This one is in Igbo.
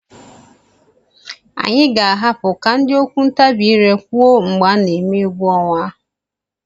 Anyị ga-ahapụ ka ndị okwu ntabi ire kwuo mgbe a na-eme egwu ọnwa.